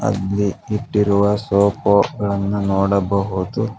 ಇಲ್ಲಿ ಇಟ್ಟಿರುವ ಸೋಪ್ಫ್ವ್ ಗಳನ್ನು ನೋಡಬಹುದು.